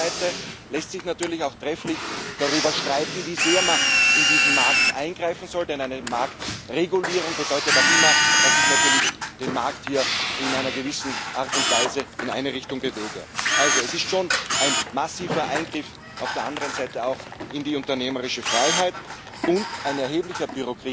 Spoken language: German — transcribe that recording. Auf der anderen Seite lässt sich natürlich auch trefflich darüber streiten, wie sehr man in diesen Markt eingreifen soll, denn eine Marktregulierung bedeutet auch immer, dass ich natürlich den Markt in einer gewissen Art und Weise in eine Richtung bewege. Es ist also schon auch ein massiver Eingriff in die unternehmerische Freiheit und ein erheblicher